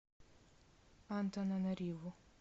антананариву